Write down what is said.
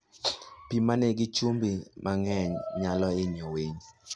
Pi ma nigi chumbi mang'eny nyalo hinyo winy.